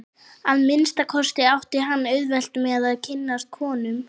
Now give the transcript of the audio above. Að minnsta kosti átti hann auðvelt með að kynnast konum.